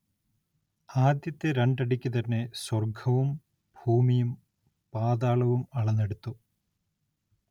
ആദ്യത്തെ രണ്ടടിക്കു തന്നെ സ്വർഗ്ഗവും ഭൂമിയും പാതാളവും അളന്നെടുത്തു.